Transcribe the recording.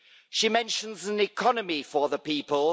She mentions an economy for the people.